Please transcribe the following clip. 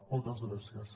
moltes gràcies